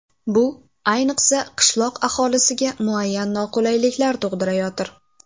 Bu, ayniqsa, qishloq aholisiga muayyan noqulayliklar tug‘dirayotir.